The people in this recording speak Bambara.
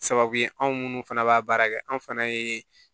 Sababu ye anw munnu fana b'a baara kɛ anw fana ye